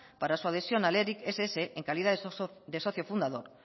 para su adhesión al eric ess en calidad de socio fundador